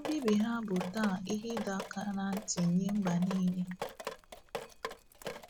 Mbibi ha bụ taa ihe ịdọ aka ná ntị nye mba niile.